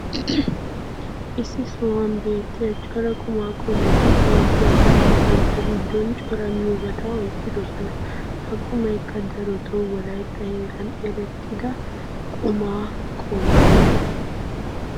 issi sohuwan beetiya cora qumaa qommoti beetiyaageetti bantta giddon cora miyoobata oyqqidosona. ha qumaykka darotoo wolaytta heeran eretidda qumaa qommo.